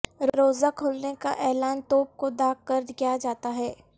روزہ کھلنے کا اعلان توپ کو داغ کر کیا جاتا ھے